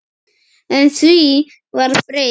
En því var breytt.